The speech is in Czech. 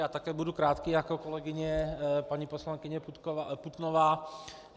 Já také budu krátký jako kolegyně paní poslankyně Putnová.